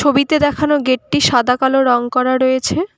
ছবিতে দেখানো গেট -টি সাদা কালো রং করা রয়েছে।